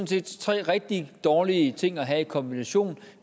set tre rigtig dårlige ting at have i kombination